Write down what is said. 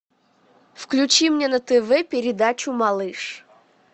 включи мне на тв передачу малыш